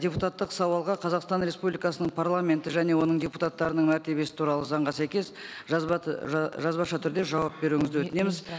депутаттық сауалға қазақстан республикасының парламенті және оның депутаттарының мәртебесі туралы заңға сәйкес жазба жазбаша түрде жауап беруіңізді өтінеміз